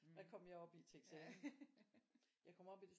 Hvad kom jeg op i til eksamen jeg kom op i det